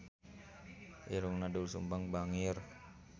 Irungna Doel Sumbang bangir